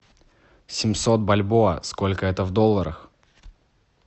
семьсот бальбоа сколько это в долларах